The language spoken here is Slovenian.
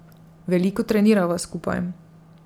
Veliko trenirava skupaj.